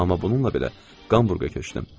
Amma bununla belə Hamburqa köçdüm.